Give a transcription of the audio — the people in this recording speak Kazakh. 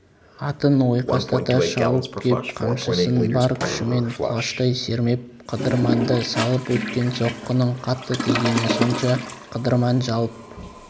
атын ойқастата шауып кеп қамшысын бар күшімен құлаштай сермеп қыдырманды салып өткен соққының қатты тигені сонша қыдырман жалп